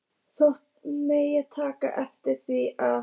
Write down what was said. Þóttust menn taka eftir því, að